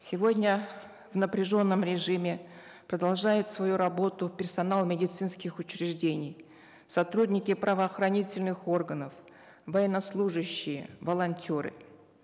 сегодня в напряженном режиме продолжают свою работу персонал медицинских учреждений сотрудники правоохранительных органов военнослужащие волонтеры